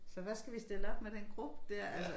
Så hvad skal vi stille op med den gruppe dér altså